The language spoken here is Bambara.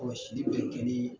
sili bɛ kɛ nin